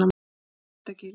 Vættagili